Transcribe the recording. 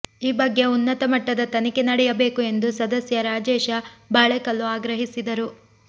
ಈ ಬಗ್ಗೆ ಉನ್ನತ ಮಟ್ಟದ ತನಿಖೆ ನಡೆಯಬೇಕು ಎಂದು ಸದಸ್ಯ ರಾಜೇಶ ಬಾಳೆಕಲ್ಲು ಆಗ್ರಹಿಸಿದರು